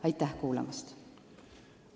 Aitäh kuulamast!